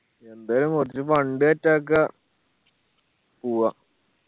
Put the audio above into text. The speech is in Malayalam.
യെന്തായാലു fund set ആക്ക പോവാ